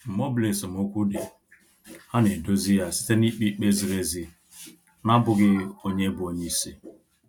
Mgbe ọbụla esemokwu dị, ha na edozi ya site na-ikpe ikpe ziri ezi na abụghị onye bụ onyeisi